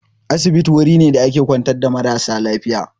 Asibiti wuri ne da ake kwantar marasa lafiya.